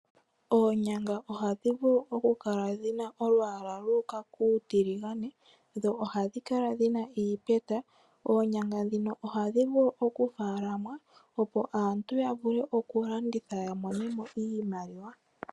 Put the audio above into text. Oonyanga ohadhi vuku oku kala dhina olwaala lwa uka kuu tiligane, dho ohadhi kala dhina iipeta. Oonyanga dhino ohadhi vulu oku faalamwa opo aantu ya vule oku landitha ya mone iimaliwa.